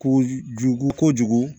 Ko jugu kojugu